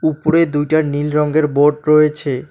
উপরে দুইটা নীল রঙ্গের বোর্ড রয়েছে।